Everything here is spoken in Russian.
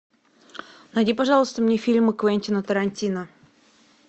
найди пожалуйста мне фильмы квентина тарантино